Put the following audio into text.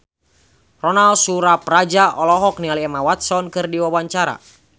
Ronal Surapradja olohok ningali Emma Watson keur diwawancara